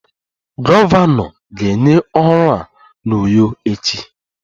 Gọvanọ ga-enye ọrụ a n'Uyo echi